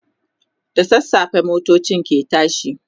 da sassafe motocin ke tashi